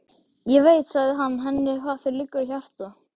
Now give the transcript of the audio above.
Ég veit, sagði hann henni, hvað þér liggur á hjarta